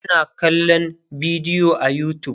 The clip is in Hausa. ana kallan bidiyo a utube